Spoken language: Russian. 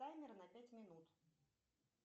таймер на пять минут